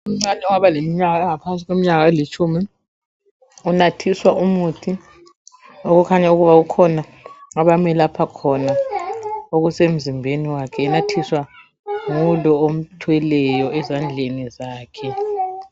Umntwana ongaba leminyaka engaphansi kwelitshumi unathiswa umuthi okukhanya ukuba kukhona abamelapha khona okusemzimbeni wakhe enathiswa ngulo omthweleyo ezandleni zakhe.